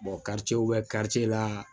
bɛ la